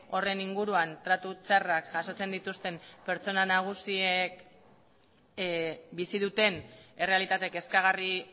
horren inguruan tratu txarrak jasotzen dituzten pertsona nagusiek bizi duten errealitate kezkagarri